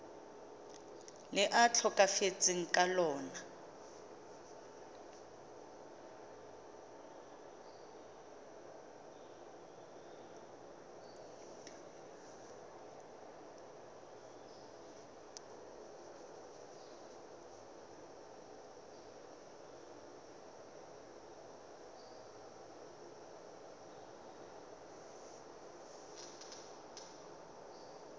le a tlhokafetseng ka lona